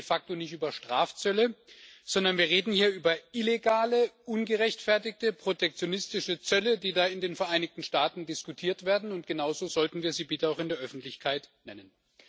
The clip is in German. Wir reden hier de facto nicht über Strafzölle, sondern wir reden hier über illegale, ungerechtfertigte protektionistische Zölle, die da in den Vereinigten Staaten diskutiert werden, und genau so sollten wir sie bitte auch in der Öffentlichkeit nennen.